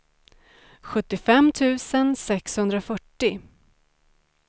sjuttiofem tusen sexhundrafyrtio